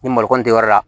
Ni malokɔnin tɛ yɔrɔ la